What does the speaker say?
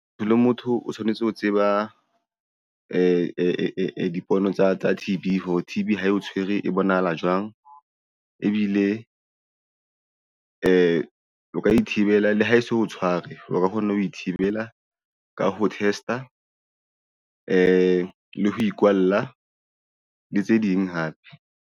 Motho le motho o tshwanetse ho tseba dipono tsa T_B hore T_B ha e o tshwere, e bonahala jwang ebile o ka ithibela le ha e so tshware o ka kgona ho ithibela ka ho test-a le ho ikwalla le tse ding hape.